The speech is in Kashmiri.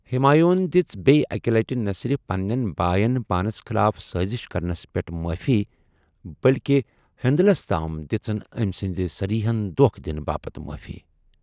ہمایون دژِ بییہ اکہِ لَٹہِ نَہ صرف پننٮ۪ن باین پانس خلاف سٲزش کرنس پیٹھ مٲفی بٔلکہِ ہندلس تام دِژن أمہِ سِنٛدِ صریحن دوكھہٕ دِنہٕ باپت مٲفی۔